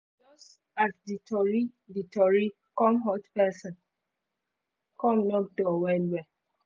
just as the tori the tori come hot person come knock door well well